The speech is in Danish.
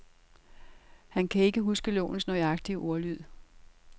Han kan ikke huske lovens nøjagtige ordlyd.